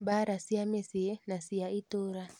Mbaara cia mĩcĩĩ na cia ĩtũra